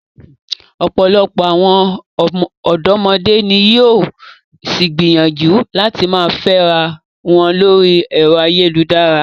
Ọ̀pọ̀lọpọ̀ àwọn ọ̀dọ́mọdé ni yóò ṣì gbìyànjú láti máa fẹ́ra wọn lórí ẹ̀rọ ayélujára.